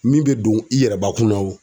Min be don i yɛrɛbakun na wo